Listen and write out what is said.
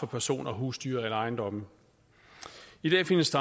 personer husdyr eller ejendomme i dag findes